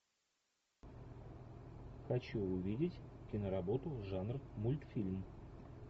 хочу увидеть киноработу жанр мультфильм